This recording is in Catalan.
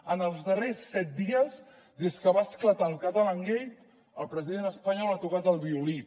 en els darrers set dies des que va esclatar el catalangate el president espanyol ha tocat el violí